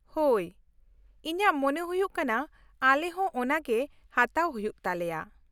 ᱦᱳᱭ, ᱤᱧᱟᱹᱜ ᱢᱚᱱᱮ ᱦᱩᱭᱩᱜ ᱠᱟᱱᱟ ᱟᱞᱮᱦᱚᱸ ᱚᱱᱟᱜᱮ ᱦᱟᱛᱟᱣ ᱦᱩᱭᱩᱜ ᱛᱟᱞᱮᱭᱟ ᱾